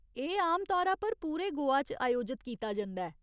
एह् आम तौरा पर पूरे गोवा च आयोजत कीता जंदा ऐ।